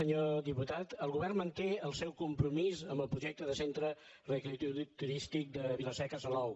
senyor diputat el govern manté el seu compromís amb el projecte de centre re·creatiu turístic de vila·seca · salou